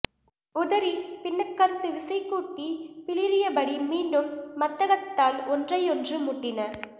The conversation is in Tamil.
உதறி பின்னகர்ந்து விசைகூட்டிப் பிளிறியபடி மீண்டும் மத்தகத்தால் ஒன்றையொன்று முட்டின